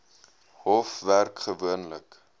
hof werk gewoonlik